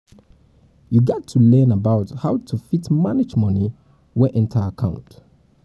you gat to learn about how to fit manage money wey enter account